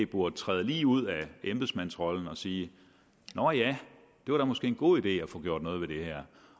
burde træde ud af embedsmandsrollen og sige nå ja det var da måske en god idé at få gjort noget ved det her